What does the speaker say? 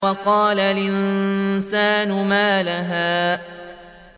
وَقَالَ الْإِنسَانُ مَا لَهَا